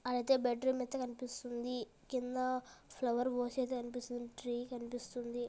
ఆడ అయితే bed room అయితే కనిపిస్తుంది కింద ఫ్లవర్ వాజ్ ఏదో కనిపిస్తుంది ట్రీ కనిపిస్తుంది.